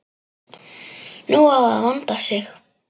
Nú á að vanda sig.